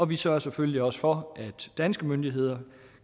vi sørger selvfølgelig også for at danske myndigheder